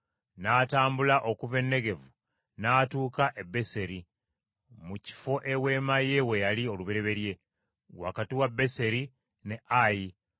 N’atambula okuva e Negevu n’atuuka e Beseri, mu kifo eweema ye we yali olubereberye, wakati wa Beseri ne Ayi,